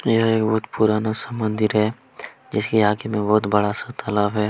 यह एक बहुत पुराना सा मंदिर है जिसके आगे में बहुत बड़ा सा तालाब है।